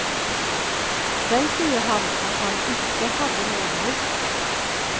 Selv sier han at han ikke hadde noe valg.